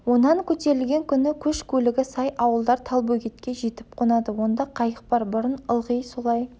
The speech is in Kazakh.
онан көтерілген күні көш көлігі сай ауылдар талбөгетке жетіп қонады онда қайық бар бұрын ылғы солай